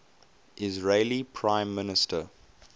israeli prime minister